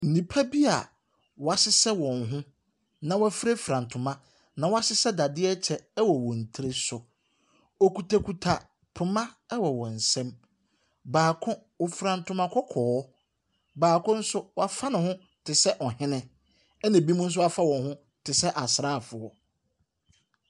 Nnipa bi a wɔahyehyɛ wɔn ho na wɔafurafura nto na wɔahyehyɛ dadeɛ kyɛ wɔ wɔn tiri so. Wɔkutakuta poma wɔ wɔn nsam. Baako, ɔfura ntoma kɔkɔɔ. Baako nso, wafa ne ho te sɛ ɔhene, ɛnna binom nso afa wɔn ho te sɛ asraafoɔ.